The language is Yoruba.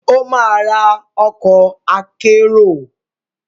Ó máa ra ọkọ̀ akérò.